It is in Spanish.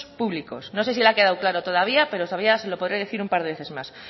públicos no sé si le ha quedado claro todavía pero todavía se lo podré decir un par de veces más